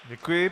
Děkuji.